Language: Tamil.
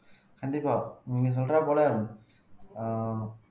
கண்டிப்பா நீங்க சொல்ற போல ஆஹ்